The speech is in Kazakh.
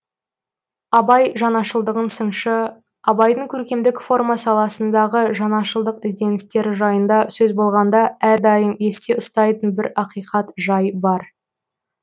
абай жаңашылдығын сыншы абайдың көркемдік форма саласындағы жаңашылдық ізденістері жайында сөз болғанда әрдайым есте ұстайтын бір ақиқат жай бар